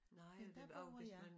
Men der bor jeg